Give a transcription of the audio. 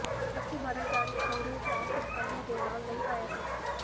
ਅਸਲੀ ਮਾਡਲ ਜਾਣੇ ਭੂਰੇ ਪਲਾਸਟਿਕ ਆਲੂ ਦੇ ਨਾਲ ਨਹੀਂ ਆਇਆ ਸੀ